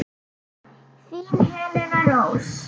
Þín Helena Rós.